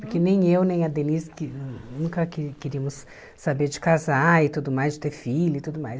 Porque nem eu, nem a Denise que nunca que queríamos saber de casar e tudo mais, de ter filho e tudo mais.